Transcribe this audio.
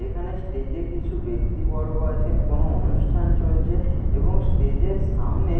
এখানে স্টেজে কিছু ব্যাক্তিবর্গ আছেন কোনো অনুষ্ঠান চলছে এবং স্টেজের সামনে --